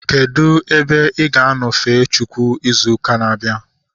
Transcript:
Kedụ ebe ị ga-anọ fee Chineke ịzụ na-abịa?